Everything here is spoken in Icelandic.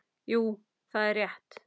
Jú, það er rétt.